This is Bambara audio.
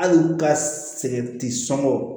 Hali u ka somɔgɔw